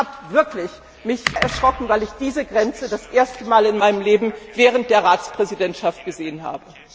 Ich habe mich wirklich sehr erschrocken, weil ich diese Grenze das erste Mal in meinem Leben während der Ratspräsidentschaft gesehen habe.